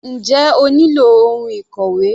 Njẹ́ o nílò ohun ìkòwé?